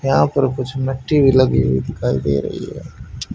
यहां पर कुछ मट्टी भी लगी हुई दिखाई दे रही है।